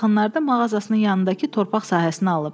O bu yaxınlarda mağazasının yanındakı torpaq sahəsini alıb.